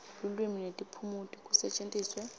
lulwimi netiphumuti kusetjentiswe